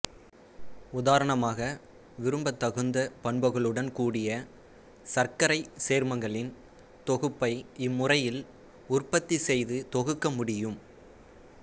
உதாரணமாக விரும்பத்தகுந்த பண்புகளுடன் கூடிய சர்க்கரைச் சேர்மங்களின் தொகுப்பை இம்முறையில் உற்பத்தி செய்து தொகுக்க முடியும்